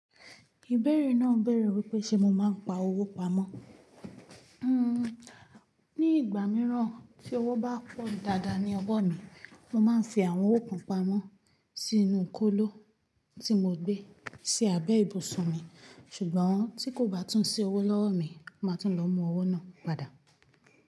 Ìbérè náà béèrè wípé ṣe mo máa ń pa owó pamọ́. Hmm ní ìgbà mìíràn tí owó bá pọ̀ dáadáa ní ọ̀wọ mi, mo máa ń fi àwọn owó kan pamọ́ sínú kóló tí mo gbé sí abẹ́ ibùsùn mi, ṣùgbọ́n tí kò bá tún sí owó lọ́wọ́ mi, mo máa tún lọ mú owó náà padà.